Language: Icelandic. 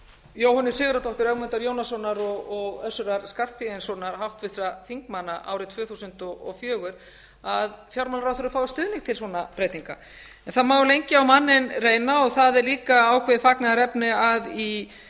jóhönnu sigurðardóttur ögmundar jónassonar og össurar skarphéðinssonar háttvirtra þingmanna árið tvö þúsund og fjögur að fjármálaráðherra fái stuðning til svona breytinga það má lengi manninn reyna og það er líka ákveðið fagnaðarefni að í